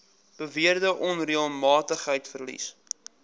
beweerde onreëlmatigheid vereis